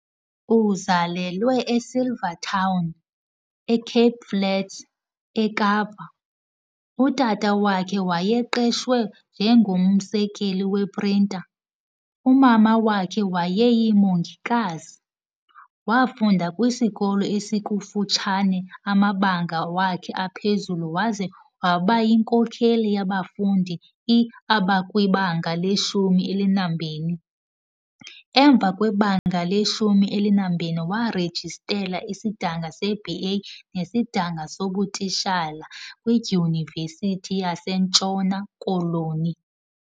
Uzalelwe eSilvertown, eCape Flats, eKapa. Utata wakhe wayeqashwe njengomsekeli wePrinta, umama wakhe wayeyiMongikazi. Wafunda kwisikolo esikufutshane amabanga wakhe aphezulu waze wabayinkokheli yabafundi iabakwibanga leshumi elinambini. Emva kwebanga leshumi elinambini waarejistela isidanga seBA nesidanga sobutitshala kwiDyunivesithi yaseNtshona koloni.